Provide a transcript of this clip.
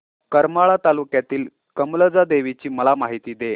करमाळा तालुक्यातील कमलजा देवीची मला माहिती दे